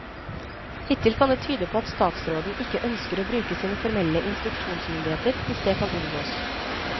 Hittil kan det tyde på at statsråden ikke ønsker å bruke sine formelle instruksjonsmyndigheter hvis det kan unngås.